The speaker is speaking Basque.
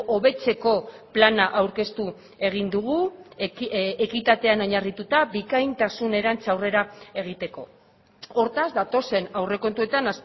hobetzeko plana aurkeztu egin dugu ekitatean oinarrituta bikaintasunerantz aurrera egiteko hortaz datozen aurrekontuetan